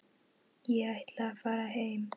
Ég ætla að fara heim.